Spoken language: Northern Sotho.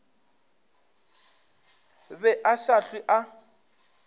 be a sa hlwe a